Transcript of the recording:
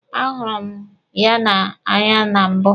A hụrụ m ya n'anya na mbụ.